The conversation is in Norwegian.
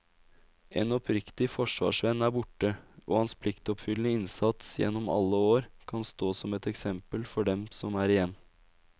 En oppriktig forsvarsvenn er borte, og hans pliktoppfyllende innsats gjennom alle år kan stå som et eksempel for dem som er igjen.